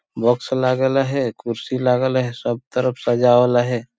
बॉक्स लागे ला है कुर्सी लागेला है सब तरफ सजावला है।